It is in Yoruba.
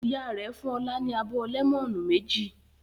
Ìyá rẹ̀ fún Ọlá ní abọ́ lẹ́mọ́nù méjì.